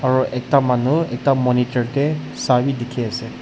aru ekta manu ekta monitor tae sa bi dikhiase.